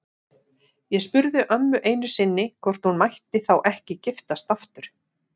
Ég spurði ömmu einu sinni hvort hún mætti þá ekki giftast aftur.